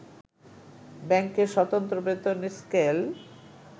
ব্যাংকের সতন্ত্র বেতন স্কেল